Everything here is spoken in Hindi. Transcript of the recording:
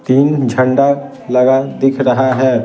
तीन झंडा लगा दिख रहा है ।